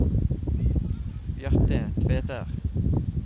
Bjarte Tveter